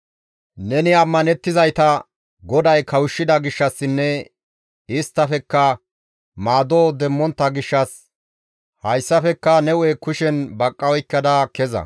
Neni ammanettizayta GODAY kawushshida gishshassinne isttafekka maado demmontta gishshas hayssafekka ne hu7e kushen baqqa oykkada kezana.